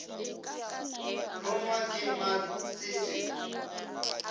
longwa ke mal se se